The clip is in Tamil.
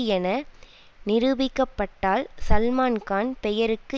என நிரூபிக்கப்பட்டால் சல்மான்கான் பெயருக்கு